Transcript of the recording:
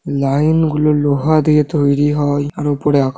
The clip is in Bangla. লাইন গুলো লোহা দিয়ে তৈরি হয় আর উপরে আক--